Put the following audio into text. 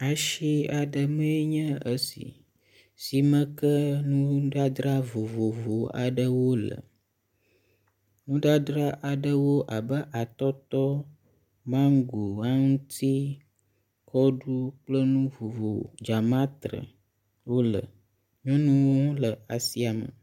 Asi aɖe mee nye esi. Si me ke nudzadzra vovovo aɖewo le. Nudzadzra aɖewo abe atɔtɔ, mango, aŋti, kɔɖu kple nu vovo dzamatre wo le. Nyɔnu le asia me.